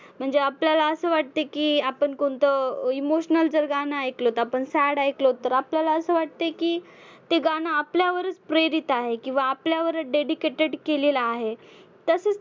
म्हणजे आपल्याला असं वाटते की आपण कोणतं emotional जर गाणं ऐकलं तर आपण sad ऐकलो तर आपल्याला असं वाटतंय की ते गाणं आपल्यावरच प्रेरित आहे. किंवा आपल्यावरच dedicated केलेलं आहे. तसेच